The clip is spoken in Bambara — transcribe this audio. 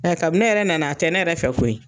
Nka kabin ne yɛrɛ nana a tɛ ne yɛrɛ fɛ koyi.